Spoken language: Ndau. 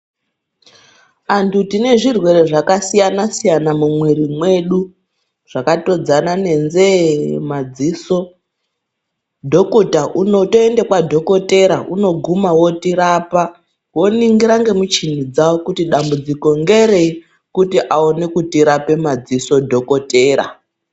Antu tine zvirwere zvakasiyana siyana mumwiri mwedu zvakatodzana ne nzeye madziso dhokota unotoenda kwa dhokotera unoguma otirapa woningira nemu chini dzawo kuti dambudziko nderenyi kuti aone kutirapa madziso dhokotera.